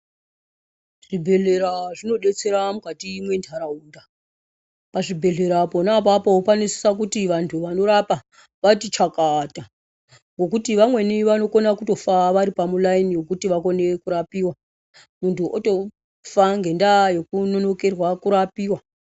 Zvibhedhlera zvinobetsera mukati mwe ndaraunda. Pazvibhedhlera pona apapo panosisa kuti vantu vanorapa vati chakata ngokuti vamweni vanokona kutofa varipamu layini yekuti vakone kurapiwa muntu otofa ngendaa yekunonokerwa kurapiwa.